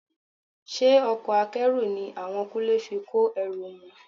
Ṣe ọkọ̀ Akẹ́rù ni àwọn Kúnlé fi kó ẹrù wọn?